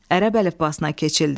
Ərəb əlifbasına keçildi.